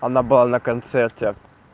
она была на концерте